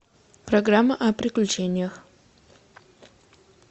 программа о приключениях